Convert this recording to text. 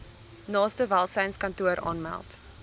naaste welsynskantoor aanmeld